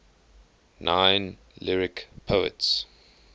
nine lyric poets